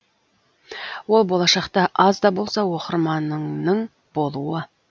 ол болашақта аз да болса оқырманыңның болуы